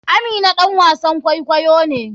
Amina ɗan wasan kwaikwayo ne.